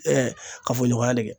kafo ɲɔgɔnya le